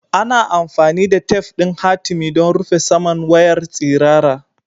Ana amfani da tef ɗin hatimi don rufe saman wayar tsirara.